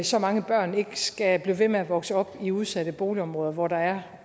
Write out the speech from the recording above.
så mange børn ikke skal blive ved med at vokse op i udsatte boligområder hvor der er